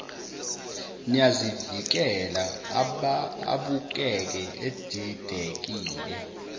niyazivikela abukeke edidekile